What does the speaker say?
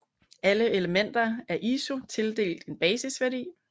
Alle elementer er af ISU tildelt en basisværdi